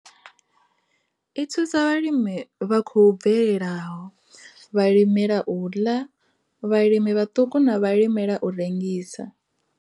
I thusa vhalimi vha khou bvelelaho, vhalimela u ḽa, vhalimi vhaṱuku na vhalimela u rengisa.